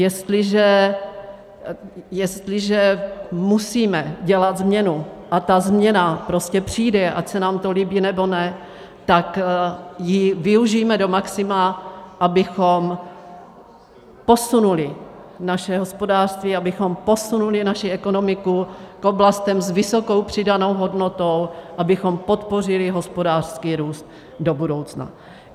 Jestliže musíme dělat změnu, a ta změna prostě přijde, ať se nám to líbí, nebo ne, tak ji využijme do maxima, abychom posunuli naše hospodářství, abychom posunuli naši ekonomiku k oblastem s vysokou přidanou hodnotou, abychom podpořili hospodářský růst do budoucna.